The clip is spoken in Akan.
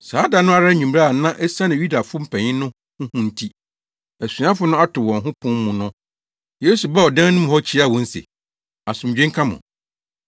Saa da no ara anwummere a na esiane Yudafo mpanyin no ho hu nti, asuafo no ato wɔn ho pon mu no, Yesu baa ɔdan no mu hɔ kyiaa wɔn se, “Asomdwoe nka mo.”